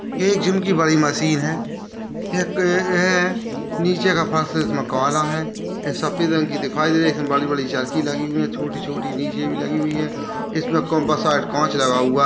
ये एक जिम की बड़ी मशीन है नीचे का फर्श इसमें काला है एक सफेद रंग की दिखाई दे रही हैं इसमें बड़ी-बड़ी चर्की लगी हुई हैं छोटी-छोटी नीचे भी लगी हुई हैं इसमें काँच लगा हुआ है।